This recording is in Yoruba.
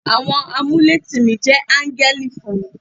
Àwọn amuletìmí jẹ́ áńgẹ́lì fún mi.